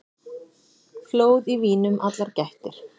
Flóð í vínum allar gættir.